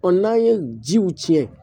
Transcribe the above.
n'an ye jiw tiɲɛ